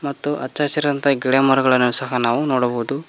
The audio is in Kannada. ಮತ್ತು ಹಚ್ಚಸಿರಾದಂತಹ ಗಿಡಮರಗಳನ್ನು ಸಹ ನಾವು ನೋಡಬಹುದು.